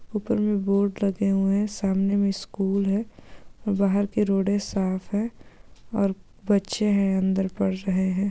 ऊपर में बोर्ड लगे हुए हैं सामने में स्कूल हैं वहा के रोड साफ़ हैं और बच्चे हैं अंदर पढ़ रहे हैं।